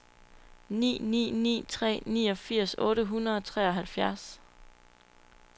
ni ni ni tre niogfirs otte hundrede og treoghalvfjerds